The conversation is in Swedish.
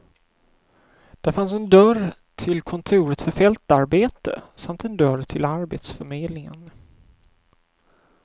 Där fanns en dörr tillkontoret för fältarbete samt en dörr till arbetsförmedlingen.